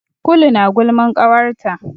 Kulu na gulman ƙawarta.